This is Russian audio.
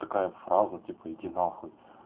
такая фраза типа иди нахуй